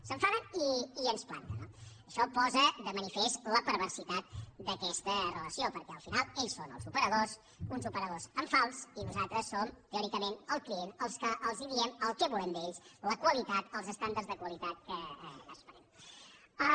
s’enfaden i ens planten no això posa de manifest la perversitat d’aquesta relació perquè al final ells són els operadors uns operadors en fals i nosaltres som teòricament el client els que els diem el que volem d’ells la qualitat els estàndards de qualitat que esperem